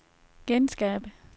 genskab